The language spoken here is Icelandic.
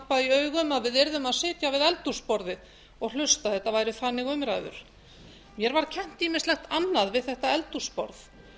í augum að við yrðum að sitja við eldhúsborðið og hlusta ef það væru þannig umræður mér var kennt ýmislegt annað við þetta eldhúsborð